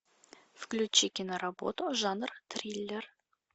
включи киноработу жанр триллер